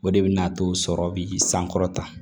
O de bɛ n'a to sɔrɔ bi sankɔrɔta